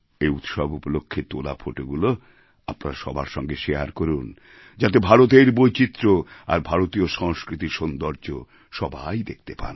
এই উৎসব উপলক্ষ্যে তোলা ফোটোগুলি আপনারা সবার সঙ্গে শেয়ার করুন যাতে ভারতের বৈচিত্র্য আর ভারতীয় সংস্কৃতির সৌন্দর্য সবাই দেখতে পান